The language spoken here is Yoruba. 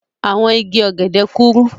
Àwọn igi ọ̀gẹ̀dẹ̀ kúrú.